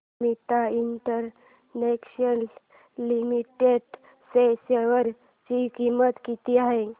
Amit international limited च्या share ची किंमत किती आहे